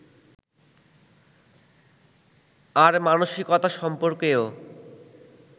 আর মানসিকতা সম্পর্কেও